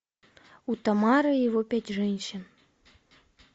утамаро и его пять женщин